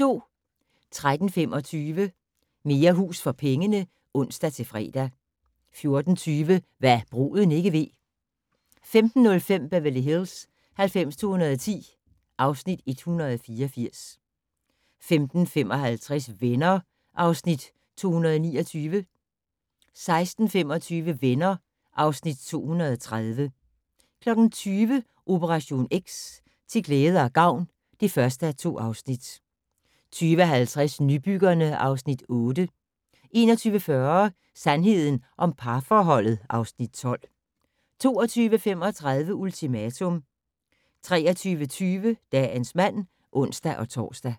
13:25: Mere hus for pengene (ons-fre) 14:20: Hva' bruden ikke ved 15:05: Beverly Hills 90210 (Afs. 184) 15:55: Venner (Afs. 229) 16:25: Venner (Afs. 230) 20:00: Operation X: Til glæde og gavn (1:2) 20:50: Nybyggerne (Afs. 8) 21:40: Sandheden om parforholdet (Afs. 12) 22:35: Ultimatum 23:25: Dagens mand (ons-tor)